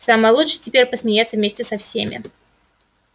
самое лучшее теперь посмеяться вместе со всеми